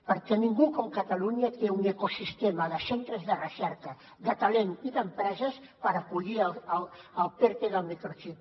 perquè ningú com catalunya té un ecosistema de centres de recerca de talent i d’empreses per acollir el perte del microxip